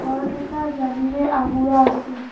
ঘৰকেইটা জলিৰে আগুৰা আছে।